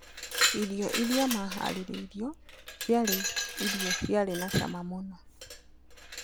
Irio iria maharĩrĩirwo ciarĩ irio ciarĩ na cama mũno.